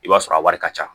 I b'a sɔrɔ a wari ka ca